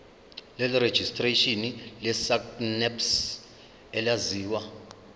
lerejistreshini lesacnasp elaziwa